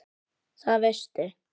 Það veistu